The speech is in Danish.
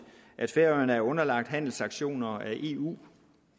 at færøerne er underlagt handelssanktioner af eu